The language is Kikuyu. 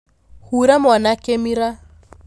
Hura mwana kĩmira.